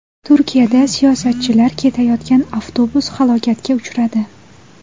Turkiyada siyosatchilar ketayotgan avtobus halokatga uchradi.